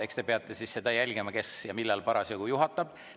Eks te peate jälgima, kes ja millal parasjagu juhatab.